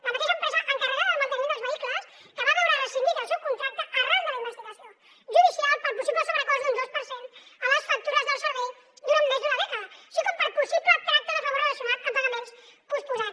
la mateixa empresa encarregada del manteniment dels vehicles que va veure rescindit el seu contracte arran de la investigació judicial pel possible sobrecost d’un dos per cent a les factures del servei durant més d’una dècada així com per possible tracte de favor relacionat amb pagaments posposats